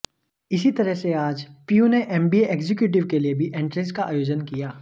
इसी तरह से आज पीयू ने एमबीए एग्जिक्यूटिव के लिये भी एंट्रेस का आयोजन किया